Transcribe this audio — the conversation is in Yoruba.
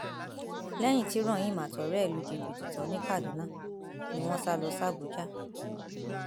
lẹyìn tí rahim àtọrẹ ẹ lu jìbìtì tán ní kaduna ni wọn sá lọ sàbúdàá